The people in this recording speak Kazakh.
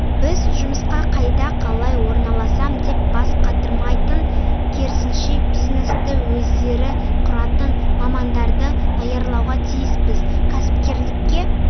біз жұмысқа қайда қалай орналасам деп бас қатырмайтын керісінше бизнесті өздері құратын мамандарды даярлауға тиіспіз кәсіпкерлікке